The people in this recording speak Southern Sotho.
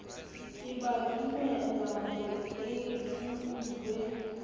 ke ba dumelahore e nkuwe